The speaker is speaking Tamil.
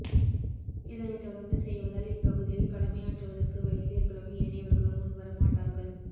இதனை தொடர்ந்து செய்வதால் இப்பகுதியில் கடமையாற்றுவதற்கு வைத்தியர்களும் ஏனையவர்களும் முன்வரமாட்டார்கள்